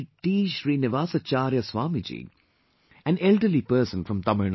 Srinivasacharya Swami ji, an elderly person from Tamil Nadu